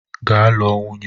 Gaa lụọ nwunye!